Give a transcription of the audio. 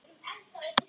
Þarna var ég.